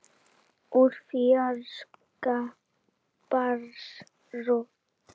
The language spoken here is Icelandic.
Úr fjarska barst rödd.